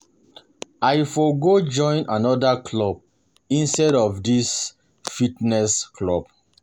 I for go join another club instead of dis fitness club